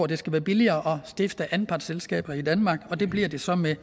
det skal være billigere at stifte anpartsselskaber i danmark og det bliver det så med